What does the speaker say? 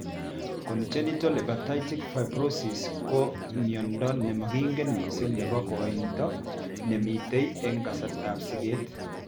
Congenital hepatic fibrosis ko miondo nemakingen mising nebo koito nemitei eng' kasartab siget